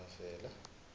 mavela